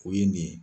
O ye nin ye